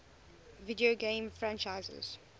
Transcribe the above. video game franchises